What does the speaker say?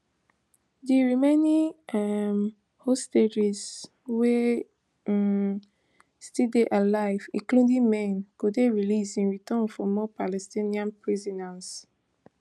di remaining um hostages wey um still dey alive including men go dey released in return for more palestinian prisoners